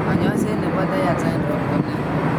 Kanyaiset nebo Tietze syndrome ko nee ?